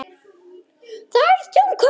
Það er þungt högg.